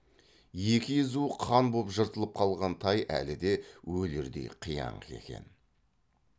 екі езуі қан боп жыртылып қалған тай әлі де өлердей қияңқы екен